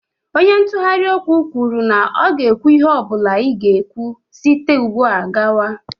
Onye ntụgharị okwu kwuru na ọ ga-ekwu ihe ọ bụla ị ga-ekwu site ugbu a gawa.